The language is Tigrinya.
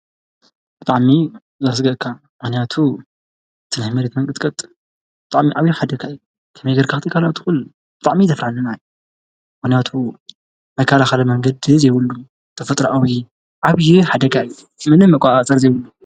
እጥዕሚ ላሥገቕካ መንያቱ ተናይ መርትመንቅጥቀጥ ጥዕሚ ዓብዪ ሓደካይ ከመይገርካኽቲይካልውትኹን ጣዕሚ ዘፍራንናይ ወነያቱ መካልኻደ መንገድ ዘይብሉ ተፈጥሪ አዊ ዓብዪ ሓደጋእዩ ምን መቛዓ ጸር ዘይብሉ።